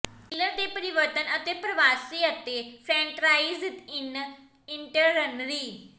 killer ਦੇ ਪਰਿਵਰਤਨ ਅਤੇ ਪ੍ਰਵਾਸੀ ਅਤੇ ਫਰੈਂਟਰਾਈਜ਼ ਇਨ ਇੰਨਟਰਨਰੀ